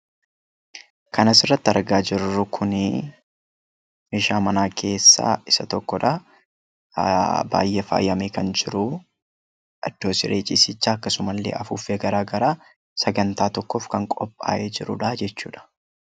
Kan asirratti argaa jirru Kun, meeshaa manaa keessaa isa tokkodha. Baayyee faayamee kan jiruu idoo siree ciisichaa afuuffee garaagaraa sagantaa tokkoof qophaa'e jechuudha.